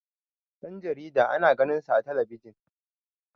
Dan jarida ana ganinsa a talabiji